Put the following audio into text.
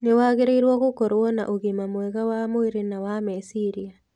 Nĩ wagĩrĩirũo gũkorũo na ũgima mwega wa mwĩrĩ na wa meciria.